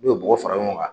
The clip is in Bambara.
N'u ye bɔgɔ fara ɲɔgɔn kan